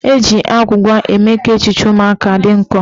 Eji agwụgwa eme ka echiche ụmụaka dị nkọ.